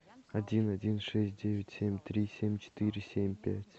один один шесть девять семь три семь четыре семь пять